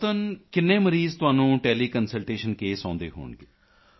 ਔਸਤਨ ਕਿੰਨੇ ਮਰੀਜ਼ ਤੁਹਾਨੂੰ ਟੈਲੀਕੰਸਲਟੇਸ਼ਨ ਕੇਸ ਆਉਂਦੇ ਹੋਣਗੇ